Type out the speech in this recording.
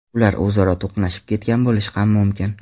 Ular o‘zaro to‘qnashib ketgan bo‘lishi ham mumkin.